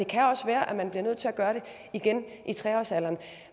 kan også være at man bliver nødt til at gøre det igen i tre årsalderen